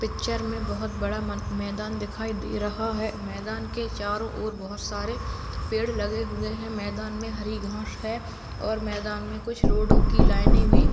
picture मे बहोत बड़ा मै मैदान दिखाई दे रहा है मैदान के चारो ओर बहोत सारे पेड़ लगे हुए है मैदान मे हरी घास है और मैदान मे कुछ रोड की लाइने भी